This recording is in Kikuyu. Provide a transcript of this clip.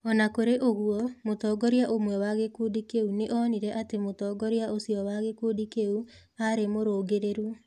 O na kũrĩ ũguo, mũtongoria ũmwe wa gĩkundi kĩu nĩ onire atĩ mũtongoria ũcio wa gĩkundi kĩu aarĩ mũrũngĩrĩru.